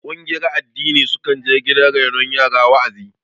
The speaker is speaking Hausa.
Ƙungiyar addini sukan je gidan renon yara wa'azi